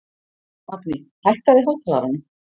Magni, hækkaðu í hátalaranum.